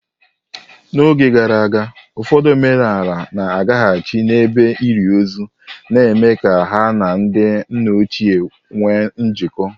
N'oge gara aga, ụfọdụ omenala na-agaghachi n'ebe ili ozu, na-eme ka ha na ndị nna ochie nwee njikọ.